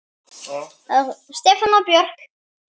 Stefán og Björk.